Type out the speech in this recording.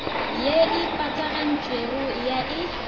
ye e patagantšwego ya e